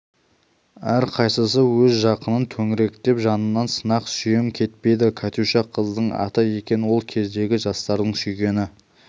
әрқайсысы өз жақынын төңіректеп жанынан сынық сүйем кетпейді катюша қыздың аты екен сол кездегі жастардың сүйгені